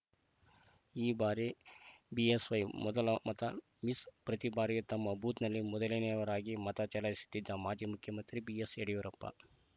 ಈ ಬಾರಿ ಬಿಎಸ್‌ವೈ ಮೊದಲ ಮತ ಮಿಸ್‌ ಪ್ರತಿ ಬಾರಿಯೂ ತಮ್ಮ ಬೂತ್‌ನಲ್ಲಿ ಮೊದಲನೆಯವರಾಗಿ ಮತ ಚಲಾಯಿಸುತ್ತಿದ್ದ ಮಾಜಿ ಮುಖ್ಯಮಂತ್ರಿ ಬಿಎಸ್‌ ಯಡಿಯೂರಪ್ಪ